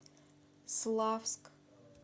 славск